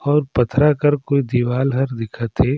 और पथरा कर कुछ दीवाल हर दिखा थे।